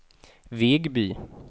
Vegby